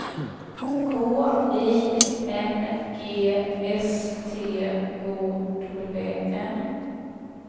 K I N G S T O W N